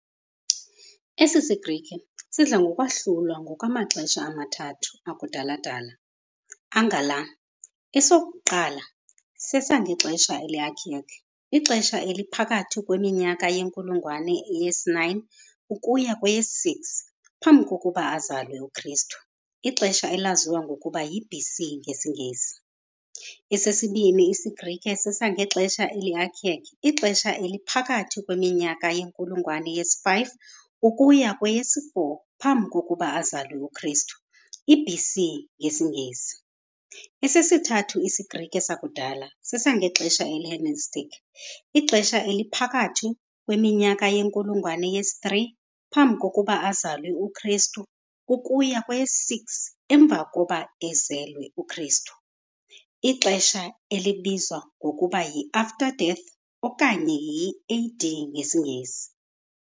Esi siGrike sidla ngokwahlulwa ngokwamaxesha amathathu akudala-dala angala - esokuqala sesangexesha eli-archaic, ixesha eliphakathi kweminyaka yenkulungwane yesi-9 ukuya kweyesi-6 Phambi kokuba azalwe uKristu, ixesha elaziwa ngokuba yi-BC ngesiNgesi, esesibini isiGrike sesangexesha eli-archaic, ixesha eliphakathi kweminyaka yenkulungwane yesi-5 ukuya kweyesi-4 phambi kokuba azalwe uKristu, i-BC ngesiNgesi, esesithathu isiGrike sakudala sesangexesha eli-Hellenistic, ixesha eliphakathi kweminyaka yenkulungwane yesi-3 phambi kokuba azalwe uKristu, ukuya kweyesi-6 emva kokuba ezelwe uKristu, ixesha elibizwa ngokuba yi-after death okanye i-AD ngesiNgesi.